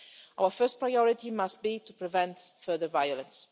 Our first priority must be to prevent further violence.